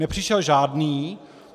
Nepřišel žádný.